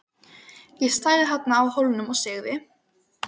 Ég stæði þarna á Hólnum og segði